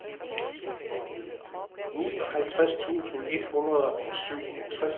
nioghalvtreds tusind et hundrede og syvogtres